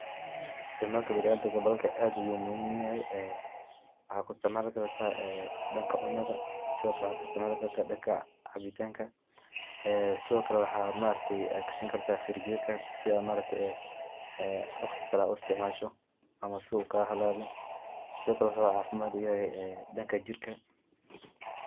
Isticmalka biniadamka bahalkan aad ayu muhiim oguyahay, waxa kuisticmali karta danka cunada sidokale waxa kuisticmali karta danka cabitanka, waxa gashani karta firinjerka si aad waqti kale uisticmasho ama uu kagahalawin sidokale wuxu cafimad uyahay danka jirka.